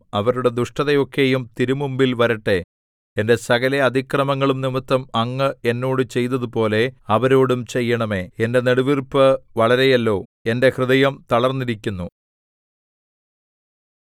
അവരുടെ ദുഷ്ടതയൊക്കെയും തിരുമുമ്പിൽ വരട്ടെ എന്റെ സകല അതിക്രമങ്ങളും നിമിത്തം അങ്ങ് എന്നോട് ചെയ്തതുപോലെ അവരോടും ചെയ്യേണമേ എന്റെ നെടുവീർപ്പ് വളരെയല്ലോ എന്റെ ഹൃദയം തളർന്നിരിക്കുന്നു